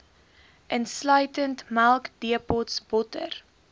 insluitend melkdepots botter